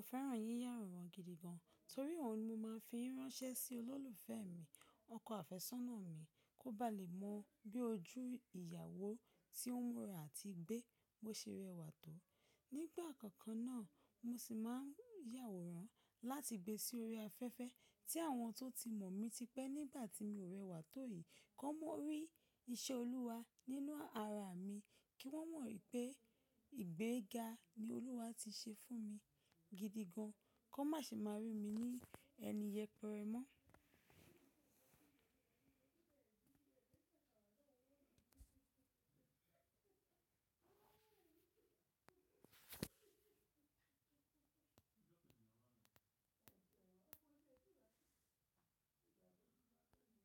Mo fẹ́ràn yíyàwòrán gidi gan, torí òhun ni mo máa fi ń ránṣẹ́ sí olólùfẹ́ mi, ọkọ àfẹ́sọ́nà mi, kó ba lè mọ bí ojú ìyàwó tí ó ń ra àti gbé, bó ṣe rẹwà tó. Nígbà kankan náà, mo sì máa ń yàwòrán láti gbe sí orí afẹ́fẹ́ tí àwọn tó ti mọ̀ mí tipẹ́ nígbà tí mi ò rẹwà tó yìí, kó mo rí iṣẹ́ Olúwa nínú ara mi, kí wọ́n mọ̀ wípé ìgbéga ni Olúwa ti ṣe fún mi gidi gan, kó má ṣe máa rí mi ní ẹni yẹpẹrẹ mọ́.